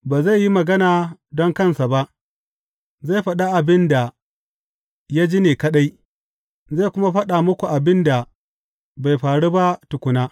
Ba zai yi magana don kansa ba; zai faɗi abin da ya ji ne kaɗai, zai kuma faɗa muku abin da bai faru ba tukuna.